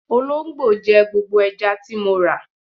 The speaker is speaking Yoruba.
Olóńgbò jẹ gbogbo ẹja tí mo rà.